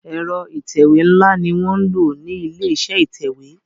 Ẹ̀rọ ìtẹ̀wé nla ní wọ nlọ ní ilé-iṣẹ́ ìtẹ̀wé.